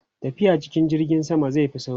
tafiya cikin jirgin sama zai Fi sauri